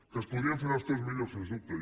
que es podrien fer les coses millor sens dubte